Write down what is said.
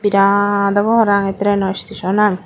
birat obo parapang ei traino stationan.